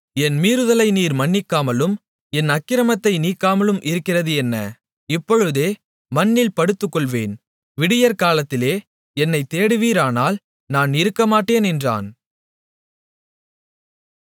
என் மீறுதலை நீர் மன்னிக்காமலும் என் அக்கிரமத்தை நீக்காமலும் இருக்கிறது என்ன இப்பொழுதே மண்ணில் படுத்துக்கொள்வேன் விடியற்காலத்திலே என்னைத் தேடுவீரானால் நான் இருக்கமாட்டேன் என்றான்